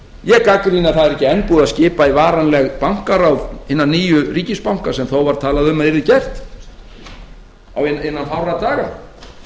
ég gagnrýni að það er ekki enn búið að skipa í varanleg bankaráð hinna nýju ríkisbanka sem þó var talað um að yrði gert innan fárra daga